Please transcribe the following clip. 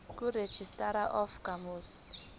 kuregistrar of gmos